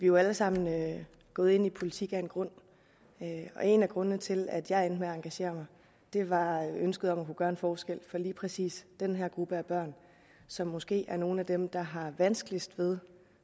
jo alle sammen gået ind i politik af en grund og en af grundene til at jeg endte med at engagere mig var ønsket om at kunne gøre en forskel for lige præcis den her gruppe af børn som måske er nogle af dem der har vanskeligst ved